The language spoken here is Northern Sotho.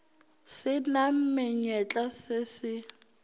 se na menyetla se se